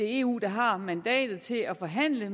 eu der har mandatet til at forhandle og